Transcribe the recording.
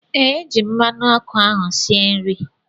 Ee, eji m mmanụ ọkụ ahụ sie nri